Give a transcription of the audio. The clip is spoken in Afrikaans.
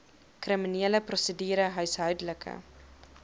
kriminele prosedure huishoudelike